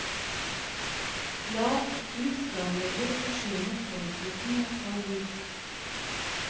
La lufteanlegget forsyne frontruten med kald luft.